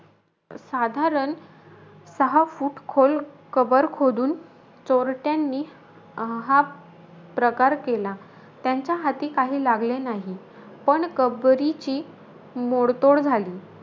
साधारण सहा फूट खोल कबर खोदून, चोरटयांनी अं हा प्रकार केला. त्यांच्या हाती काही लागले नाही. पण कबरीची मोडतोड झाली.